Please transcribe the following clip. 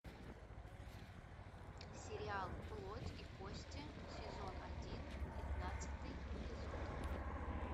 сериал плоть и кости сезон один пятнадцатый эпизод